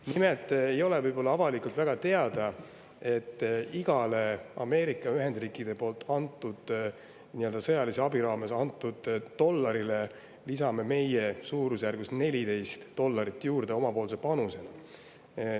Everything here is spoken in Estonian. Nimelt ei ole avalikult võib-olla väga teada, et igale Ameerika Ühendriikide sõjalise abi raames antud dollarile lisame meie suurusjärgus 14 dollarit oma panusena juurde.